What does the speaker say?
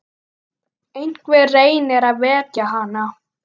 Einhver reynir að vekja hana.